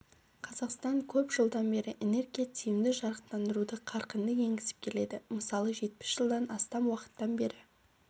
қазақстан көп жылдан бері энергия тиімді жарықтандыруды қарқынды енгізіп келеді мысалы жетпіс жылдан астам уақыттан бері